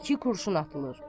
İki kurşun atılır.